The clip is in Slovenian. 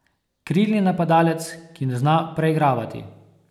Krilni napadalec, ki ne zna preigravati.